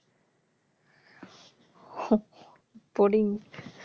boring